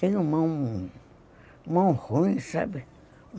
Tenho mão ruim, sabe?